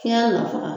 Fiɲɛ nafa